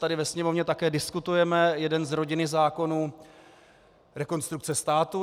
Tady ve Sněmovně také diskutujeme jeden z rodiny zákonů Rekonstrukce státu.